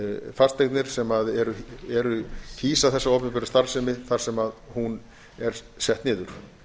fasteignir sem hýsa þessa opinberu starfsemi þar sem hún er sett niður